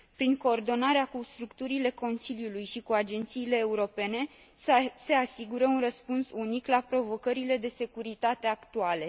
Prin coordonarea cu structurile Consiliului și cu agențiile europene se asigură un răspuns unic la provocările de securitate actuale.